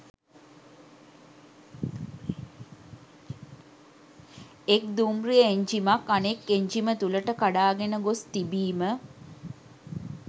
එක් දුම්රිය එන්ජිමක් අනෙක් එන්ජිම තුළට කඩාගෙන ගොස් තිබීම